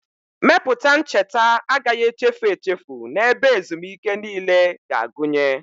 Mepụta ncheta agaghị echefu echefu na ebe ezumike niile na-agụnye.